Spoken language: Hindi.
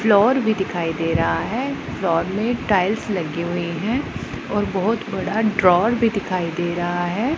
फ्लोर भी दिखाई दे रहा है फ्लोर में टाइल्स लगी हुई हैं और बहुत बड़ा ड्रॉवर भी दिखाई दे रहा है।